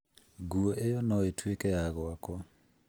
nguo ĩyo no ĩtuĩke ya gwakwa.